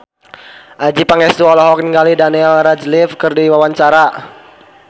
Adjie Pangestu olohok ningali Daniel Radcliffe keur diwawancara